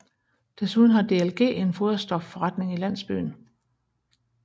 Desuden har DLG en foderstofforretning i landsbyen